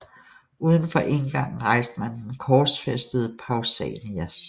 Uden for indgangen rejste man den korsfæstede Pausanias